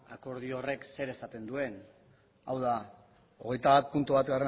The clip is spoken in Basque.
akordio horrek zer esaten duen hau da hogeita bat puntu bat